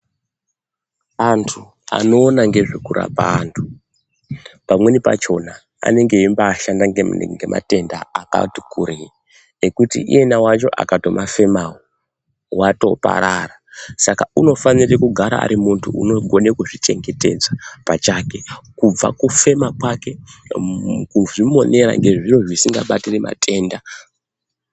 Antu anoona ngezve kurapa antu pamweni pachona anenge eyi mbai shanda ne matenda akati kurei nekuti iyena wacho akato mafemawo wato parara saka unofanire kugara ari munhu anozvi chengetedza pachake kubva muku fema kwake ku zvimonera nge zviro zvisinga batiri matenda.